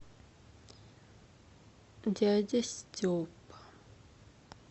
дядя степа